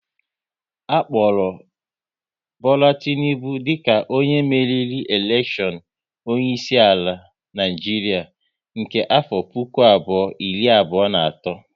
A kpọrọ Bola Tinubu dika onye meriri elekshion onye isi ala Naịjiria nke afọ puku abụọ iri abụọ na atọ